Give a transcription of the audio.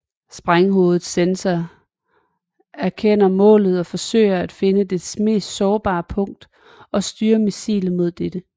Sprænghovedets sensorer erkender målet og forsøger at finde dets mest sårbare punkt og styre missilet mod dette